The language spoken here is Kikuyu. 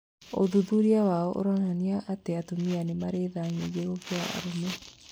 Ũthuthuria wao ũronania atĩ atumia nĩmarĩ tha nyĩngĩ kurĩ arũme